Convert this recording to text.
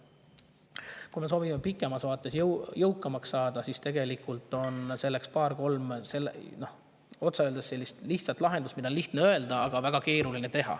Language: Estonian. Kui me soovime pikemas vaates jõukamaks saada, siis selleks on otse öeldes paar-kolm lahendust, mida on lihtne öelda, aga väga keeruline teha.